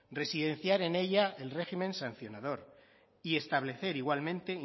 residenciar en ella el régimen sancionador y establecer igualmente